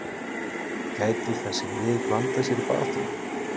Gætu þessi lið blandað sér í baráttuna?